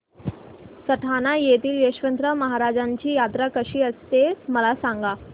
सटाणा येथील यशवंतराव महाराजांची यात्रा कशी असते मला सांग